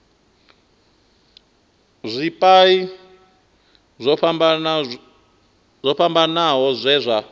zwipia zwo fhambanaho zwe zwa